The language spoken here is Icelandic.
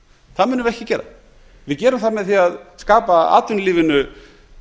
það munum við ekki gera við gerum það með því að skapa atvinnulífinu